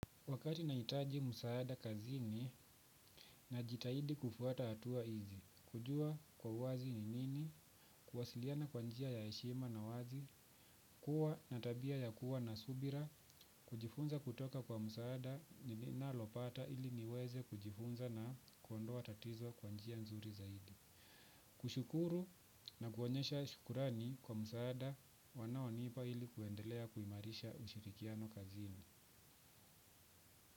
Wakati naitaji msaada kazini na jitahidi kufuata hatua hizi, kujua kwa wazi ni nini, kuwasiliana kwa njia ya heshima na wazi, kuwa na tabia ya kuwa na subira, kujifunza kutoka kwa msaada nalopata ili niweze kujifunza na kuondoa tatizo kwa njia nzuri zaidi. Kushukuru na kuonyesha shukurani kwa msaada wanaonipa ili kuendelea kuimarisha ushirikiano kazini.